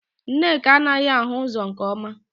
Nneka anaghị ahụ ụzọ nke ọma